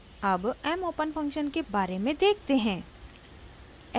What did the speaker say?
अब mopen function के बारे में देखते हैं: